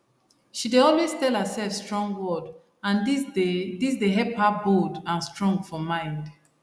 she dey always tell herself strong word and this dey this dey help her bold and strong for mind